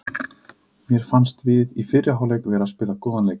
Mér fannst við í fyrri hálfleik vera að spila góðan leik.